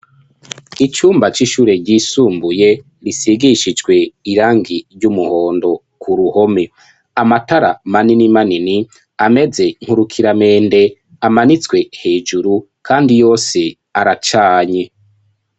Icumba c'ishure ryisumbuye risigishijwe irangi ry'umuhondo ku ruhome. Amatara manini manini ameze nk'urukiramende amanitswe hejuru kandi yose aracanye.